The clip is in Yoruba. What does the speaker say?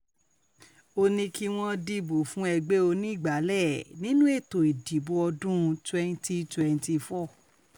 ó um ní kí wọ́n dìbò fún ẹgbẹ́ onígbàálẹ̀ nínú ètò ìdìbò ọdún um twenty twenty four